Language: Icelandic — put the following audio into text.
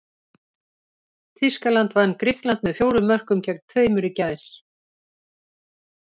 Þýskaland vann Grikkland með fjórum mörkum gegn tveimur í gær.